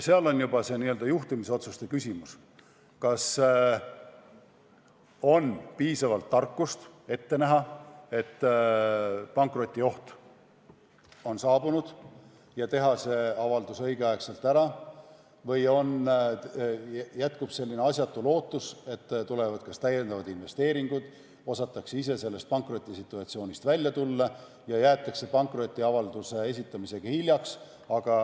Seal on juba juhtimisotsuste küsimus, kas on piisavalt tarkust ette näha, et pankrotioht on saabunud, ja teha see avaldus õigeaegselt ära, või jätkub selline asjatu ootus, et tulevad lisainvesteeringud või osatakse ise sellest pankrotisituatsioonist välja tuua, ja siis jäädakse pankrotiavalduse esitamisega hiljaks.